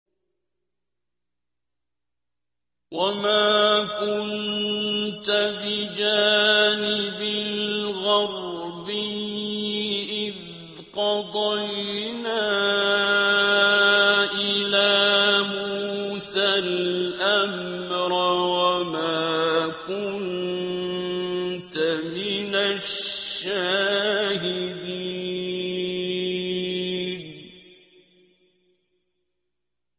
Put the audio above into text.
وَمَا كُنتَ بِجَانِبِ الْغَرْبِيِّ إِذْ قَضَيْنَا إِلَىٰ مُوسَى الْأَمْرَ وَمَا كُنتَ مِنَ الشَّاهِدِينَ